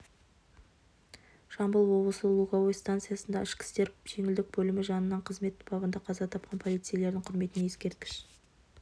жамбыл облысы луговое стансасындағы ішкі істер желілік бөлімі жанынан қызмет бабында қаза тапқан полицейлердің құрметіне ескерткіш